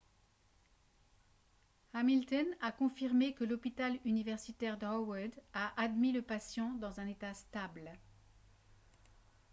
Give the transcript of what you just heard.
hamilton a confirmé que l'hôpital universitaire d'howard a admis le patient dans un état stable